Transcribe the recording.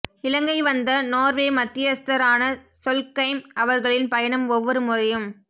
இலங்கை வந்த நோர்வே மத்தியஸ்த்தர் ஆன சொல்கெய்ம் அவர்களின் பயணம் ஒவ்வரு முறையும்